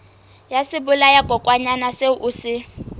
ya sebolayakokwanyana seo o se